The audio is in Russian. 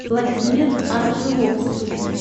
владимир аржиловский